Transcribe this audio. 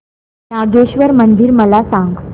नागेश्वर मंदिर मला सांग